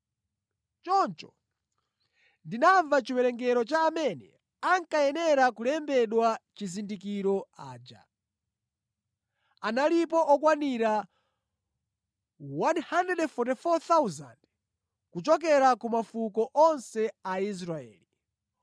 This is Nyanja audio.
Choncho ndinamva chiwerengero cha amene ankayenera kulembedwa chizindikiro aja. Analipo okwanira 144,000 kuchokera ku mafuko onse a Israeli.